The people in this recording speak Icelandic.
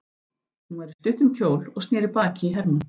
Hún var í stuttum kjól og sneri baki í Hermann.